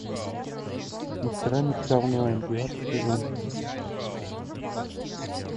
мастера меча онлайн девятый сезон